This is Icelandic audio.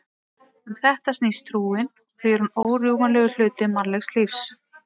Um þetta snýst trúin og því er hún órjúfanlegur hluti mannlegs lífs.